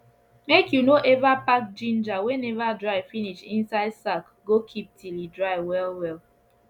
make you no ever pack ginger wey never dry finish inside sack go keep till e dry well well